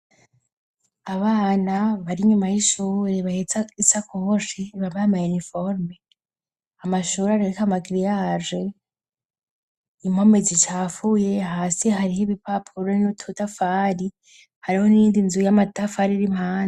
Abana bari nyuma y'ishure ,bahetsa isakoshe bari bambaye iniforome ,amashure arik'amagiriyage impome zicafuye ,hasi hari ho ibipapuro n'udutafari, hariho n'iyindi nzu yamatafari ir'impande.